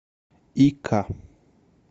ика